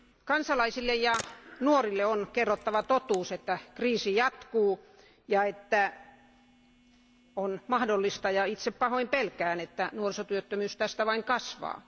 Kansalaisille ja nuorille on kerrottava totuus, että kriisi jatkuu ja että on mahdollista ja itse tätä pahoin pelkään että nuorisotyöttömyys tästä vain kasvaa.